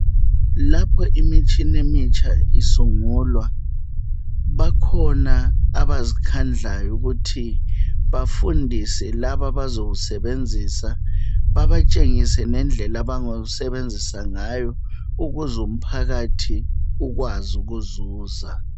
Lapha imitshina emitsha isungulwa bakhona abazikhandlayo ukuthi bafundise laba abazowusebenzisa babatshengise lendlela abazowusebenzisa ngayo ukuze umphakathi ukwazi ukuzuza.